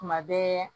Kuma bɛɛ